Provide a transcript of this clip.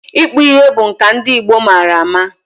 Ịkpụ ihe bụ nka ndị Igbo mara eme.